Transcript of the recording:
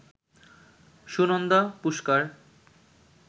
Sunanda Pushkar